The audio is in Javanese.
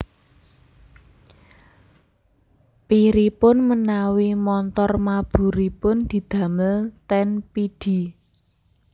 Piripun menawi montor maburipun didamel ten Pidie